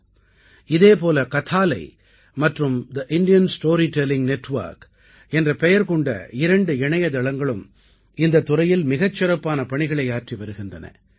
இதே போல கதாலய் மற்றும் the Indian storytelling network the Indian storytelling network என்ற பெயர் கொண்ட இரண்டு இணைய தளங்களும் இந்தத் துறையில் மிகச் சிறப்பான பணிகளை ஆற்றி வருகின்றன